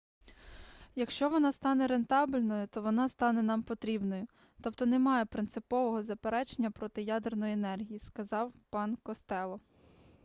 якщо вона стане рентабельною то вона стане нам потрібною тобто немає принципового заперечення проти ядерної енергії - сказав пан костелло